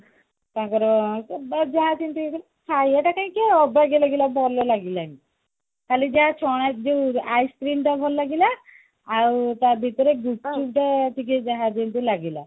ତାଙ୍କର କିନ୍ତୁ ହେଇଥିଲା ଖାଇବା ଟା କାହିଁକି ଅବାଗିଆ ଲାଗିଲା ଭଲ ଲାଗିଲାନି କହଳି ଯାହା ଛ ଯୋଉ ice-cream ଟା ଭଲ ଲାଗିଲା ଆଉ ତା ଭିତରେ ଗୁପ୍ଚୁପ ଯୋଉ ଟିକେ ଯାହା ଯେମତି ଲାଗିଲା